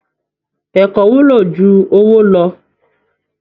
Ẹ̀kọ́ wúlò jù owó lọ